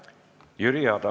Jüri Adams.